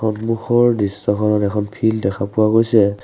সন্মুখৰ দৃশ্যখনত এখন ফিল্ড দেখা পোৱা গৈছে।